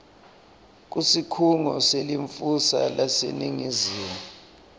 kusikhungo selincusa laseningizimu